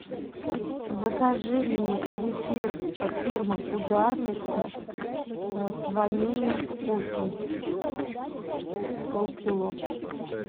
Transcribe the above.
закажи мне зефир фирмы ударница с ванильным вкусом полкило